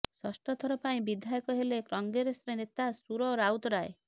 ଷଷ୍ଠ ଥର ପାଇଁ ବିଧାୟକ ହେଲେ କଂଗ୍ରେସ ନେତା ସୁର ରାଉତରାୟ